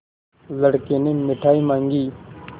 लड़के ने मिठाई मॉँगी